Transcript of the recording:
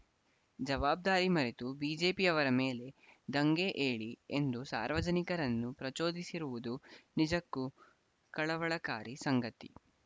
ಜವಾಬ್ದಾರಿ ಮರೆತು ಬಿಜೆಪಿ ಯವರ ಮೇಲೆ ದಂಗೆ ಏಳಿ ಎಂದು ಸಾರ್ವಜನಿಕರನ್ನು ಪ್ರಚೋದಿಸಿರುವುದು ನಿಜಕ್ಕೂ ಕಳವಳಕಾರಿ ಸಂಗತಿ